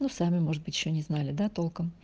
ну сами может быть ещё не знали да толком